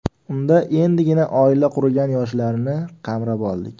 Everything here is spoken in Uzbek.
Unda endigina oila qurgan yoshlarni qamrab oldik.